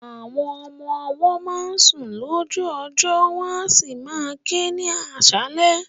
Àwọn ọmọ ọwọ́ máa ń sun lójú ọjọ́ wọn a sì máa ké ní aṣálẹ̀.